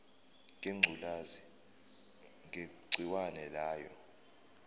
ngengculazi negciwane layo